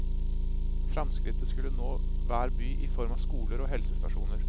Framskrittet skulle nå hver by i form av skoler og helsestasjoner.